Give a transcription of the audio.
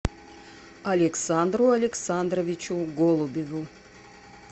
александру александровичу голубеву